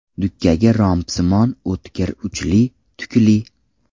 Dukkagi rombsimon, o‘tkir uchli, tukli.